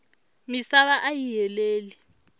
misava ayi heleli